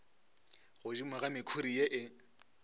godimo ga mekhuri ye e